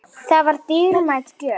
Það var dýrmæt gjöf.